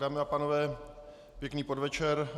Dámy a pánové, pěkný podvečer.